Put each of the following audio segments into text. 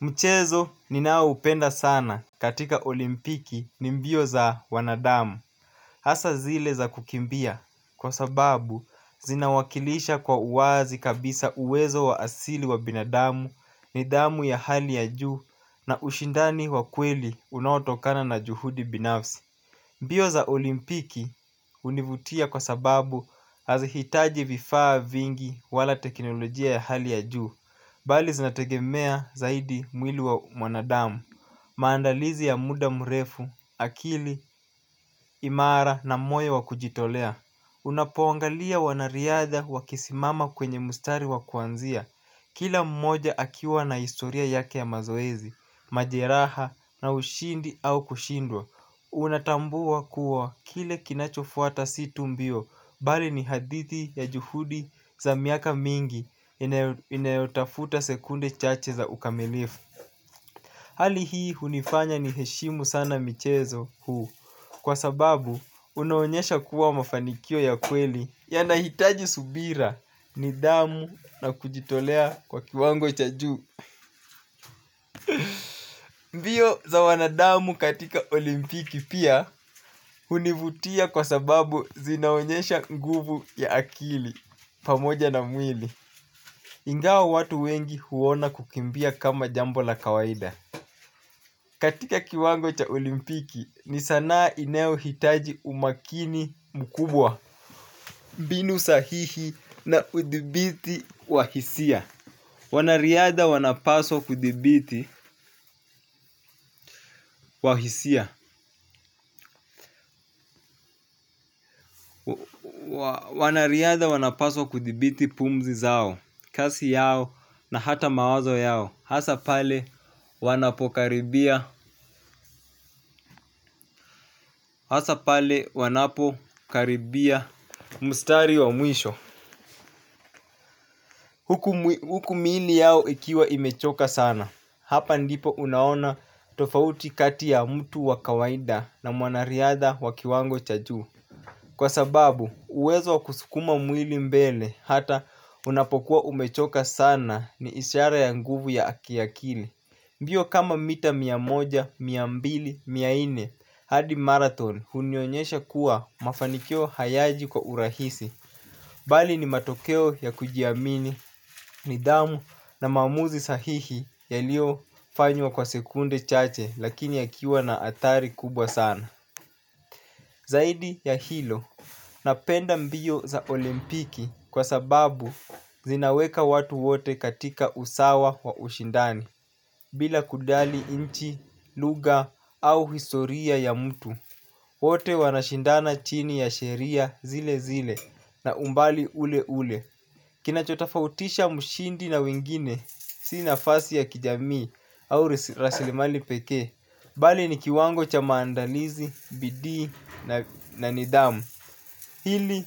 Mchezo ninaoupenda sana katika olimpiki ni mbio za wanadamu. Hasa zile za kukimbia kwa sababu zinawakilisha kwa uwazi kabisa uwezo wa asili wa binadamu nidhamu ya hali ya juu na ushindani wa kweli unaotokana na juhudi binafsi. Mbio za olimpiki hunivutia kwa sababu hazihitaji vifaa vingi wala teknolojia ya hali ya juu. Bali zinategemea zaidi mwili wa mwanadamu maandalizi ya muda mrefu akili imara na moyo wa kujitolea. Unapongalia wanariadha wakisimama kwenye mstari wa kwanzia. Kila mmoja akiwa na historia yake ya mazoezi, majeraha na ushindi au kushindwa. Unatambua kuwa kile kinachofuata si tumbio. Bali ni hadithi ya juhudi za miaka mingi inayotafuta sekunde chache za ukamilifu. Hali hii hunifanya niheshimu sana michezo huu kwa sababu unaonyesha kuwa mafanikio ya kweli. Yanahitaji subira nidhamu na kujitolea kwa kiwango cha juu. Mbio za wanadamu katika olimpiki pia hunivutia kwa sababu zinaonyesha nguvu ya akili pamoja na mwili ingawa watu wengi huona kukimbia kama jambo la kawaida katika kiwango cha olimpiki ni sana inayohitaji umakini mkubwa mbinu sahihi na udhibiti wa hisia. Wanariadha wanapaswa kudhibiti kwa hisia. Wanariadha wanapaswa kudhibiti pumzi zao. Kasi yao na hata mawazo yao. Hasa pale wanapokaribia hasa pale wanapokaribia mstari wa mwisho huku miili yao ikiwa imechoka sana. Hapa ndipo unaona tofauti kati ya mtu wa kawaida na mwanariadha wa kiwango cha juu kwa sababu uwezo wa kusukuma mwili mbele hata unapokuwa umechoka sana ni ishara ya nguvu ya kiakili. Mbio kama mita mia moja, mia mbili, mia nne, hadi marathon hunionyesha kuwa mafanikio hayaji kwa urahisi, bali ni matokeo ya kujiamini, nidhamu na maamuzi sahihi yaliyofanywa kwa sekunde chache lakini yakiwa na athari kubwa sana. Zaidi ya hilo napenda mbio za olimpiki kwa sababu zinaweka watu wote katika usawa wa ushindani. Bila kujali nchi, lugha au historia ya mtu. Wote wanashindana chini ya sheria zile zile na umbali ule ule. Kinachotofautisha mshindi na wingine si nafasi ya kijamii au rasilimali pekee. Bali ni kiwango cha maandalizi, bidii na nidhamu. Hili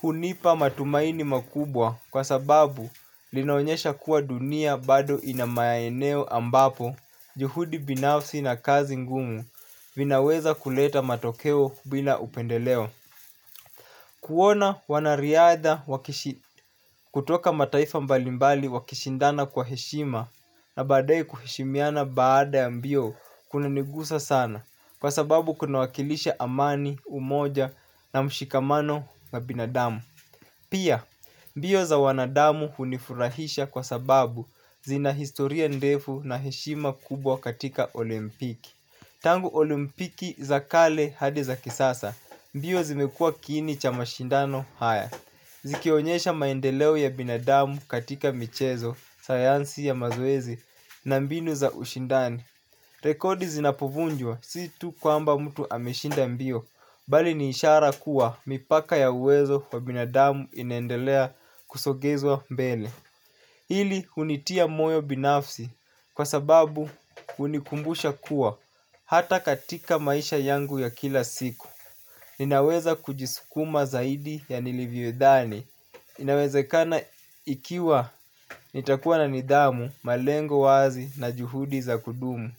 hunipa matumaini makubwa kwa sababu linaonyesha kuwa dunia bado inamaeneo ambapo juhudi binafsi na kazi ngumu vinaweza kuleta matokeo bila upendeleo. Kuona wanariadha kutoka mataifa mbalimbali wakishindana kwa heshima na baadaye kuheshimiana baada ya mbio kunanigusa sana kwa sababu kuna wakilisha amani, umoja na mshikamano na binadamu. Pia, mbio za wanadamu hunifurahisha kwa sababu zina historia ndefu na heshima kubwa katika olimpiki. Tangu olimpiki za kale hadi za kisasa, mbio zimekua kiini cha mashindano haya zikionyesha maendeleo ya binadamu katika michezo, sayansi ya mazoezi na mbinu za ushindani. Rekodi zinapovunjwa si tu kwamba mtu ameshinda mbio. Bali ni ishara kuwa mipaka ya uwezo wa binadamu inaendelea kusogezwa mbele hili hunitia moyo binafsi kwa sababu hunikumbusha kuwa hata katika maisha yangu ya kila siku ninaweza kujisukuma zaidi ya nilivyodhani inawezekana ikiwa nitakuwa na nidhamu, malengo wazi na juhudi za kudumu.